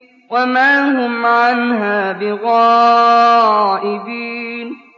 وَمَا هُمْ عَنْهَا بِغَائِبِينَ